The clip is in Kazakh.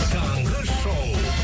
таңғы шоу